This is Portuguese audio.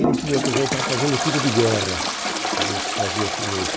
Ele tinha, por exemplo, estava fazendo tiro de guerra, e fazia-se muito.